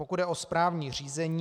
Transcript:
Pokud jde o správní řízení...